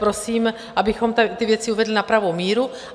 Prosím, abychom ty věci uvedli na pravou míru.